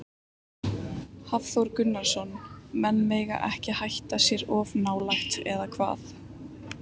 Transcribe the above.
Hafþór Gunnarsson: Menn mega ekki hætt sér of nálægt, eða hvað?